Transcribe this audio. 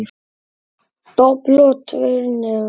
Dobl og tveir niður.